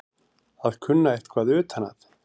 Að kunna eitthvað utan að